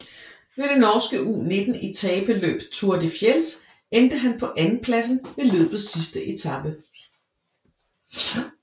Ved det norske U19 etapeløb Tour de Fjells endte han på andenpladsen ved løbets sidste etape